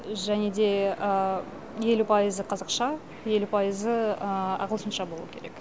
және де елу пайызы қазақша елу пайызы ағылшынша болуы керек